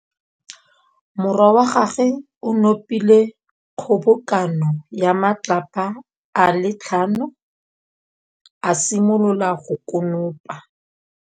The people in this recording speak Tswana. Morwa wa gagwe o nopile kgobokanô ya matlapa a le tlhano, a simolola go konopa.